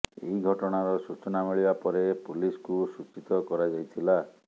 ଏହି ଘଟଣାର ସୂଚନା ମିଳିବା ପରେ ପୁଲିସକୁ ସୂଚିତ କରାଯାଇଥିଲା